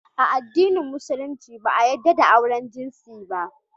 A addinin musulunci yadda da auren jinsi ba